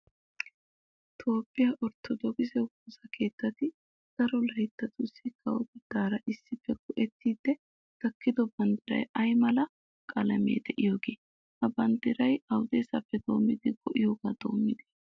Toophphiya orttodookise woosa keettati daro layttatussi kawotettaara issippe go"ettiiddi tokkido banddiray ay mala qalameti de'iyogee? Ha banddiray awudeesappe doommidi go"iyogaa doommidee?